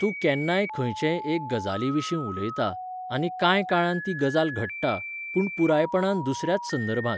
तूं केन्नाय खंयचेय एके गजालीविशीं उलयता, आनी कांय काळान ती गजाल घडटा, पूण पुरायपणान दुसऱ्याच संदर्भांत.